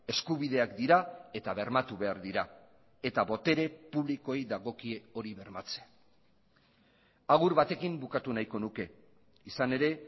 eskubideak dira eta bermatu behar dira eta botere publikoei dagokie hori bermatzea agur batekin bukatu nahiko nuke izan ere